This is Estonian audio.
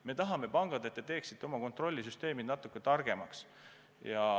Me tahame, et pangad teeksid oma kontrollsüsteemid natuke targemaks.